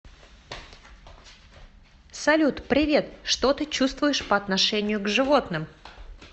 салют привет что ты чувствуешь по отношению к животным